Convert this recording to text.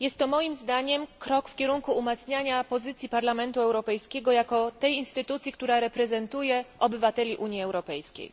Moim zdaniem jest to krok w kierunku umacniania pozycji Parlamentu Europejskiego jako tej instytucji, która reprezentuje obywateli Unii Europejskiej.